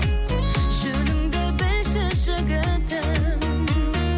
жөніңді білші жігітім